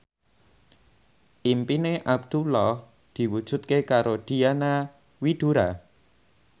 impine Abdullah diwujudke karo Diana Widoera